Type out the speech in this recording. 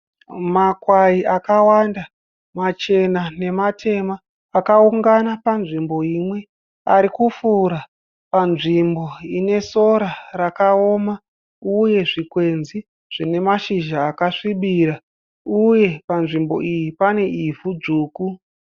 Makwayi akawanda machena nematema. Akaungana panzvimbo imwe. Ari kufura panzvimbo ine sora rakaoma uye zvikwenzi zvine mashizha akasvibira. Uye panzvimbo iyi pane ivhu dzvuku.